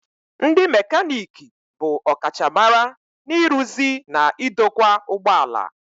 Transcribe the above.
Ndị mekaniki bụ ọkachamara n'ịrụzi na idokwa ụgbọ ala.